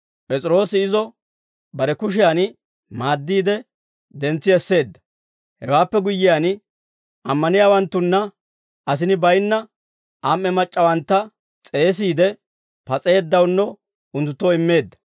P'es'iroosi izo bare kushiyan maaddiide, dentsi esseedda; hewaappe guyyiyaan, ammaniyaawanttanne asini baynna am"e mac'c'awantta s'eesiide, pas'eeddawunno unttunttoo immeedda.